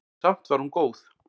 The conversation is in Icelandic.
Samt var hún góð.